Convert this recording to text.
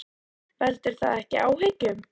Veldur það ekki áhyggjum?